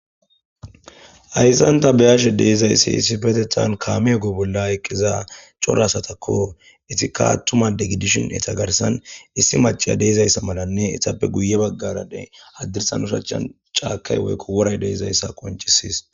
ayssanta beyashe deezayssi issifetethan kaameego bolla eqqiza cora asatakko itikattuma degidishin eta garsan issi maciya deezayssa malanne itappe guye baggarade addirsan ushachan caakay woykko woray deezayssa qoncisis